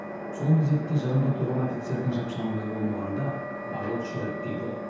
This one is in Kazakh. сол мезетте жанымда тұрған офицердің шапшаңдығы болмағанда ажал құшар едік дейді ол